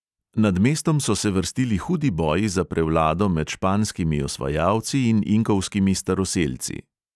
Nad mestom so se vrstili hudi boji za prevlado med španskimi osvajalci in inkovskimi staroselci.